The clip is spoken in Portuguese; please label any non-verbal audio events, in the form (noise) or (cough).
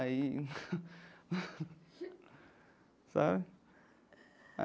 Aí... (laughs) Sabe?